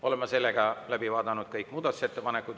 Oleme läbi vaadanud kõik muudatusettepanekud.